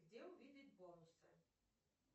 где увидеть бонусы